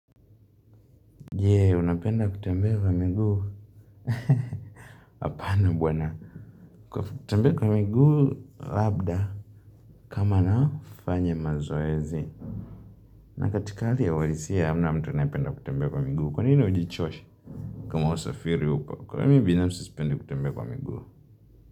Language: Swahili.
Jee unapenda kutembea kwa miguu apana bwana kutembea kwa miguu labda kama nafanya mazoezi na katikali ya ualisia hamna mtu anayependa kutembea kwa miguu kwa nini ujichoshe kama usafiri upo kwa mimi binafsi sipendi kutembea kwa miguu.